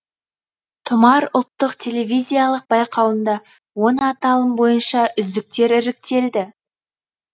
тұмар ұлттық телевизиялық байқауында он аталым бойынша үздіктер іріктелді